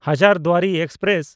Hazarduari express